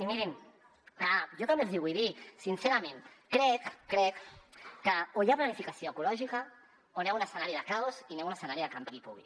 i mirin jo també els hi vull dir sincerament que crec que o hi ha planificació ecològica o anem a un escenari de caos i anem a un escenari de campi qui pugui